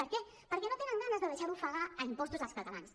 per què perquè no tenen ganes de deixar d’ofegar a impostos els catalans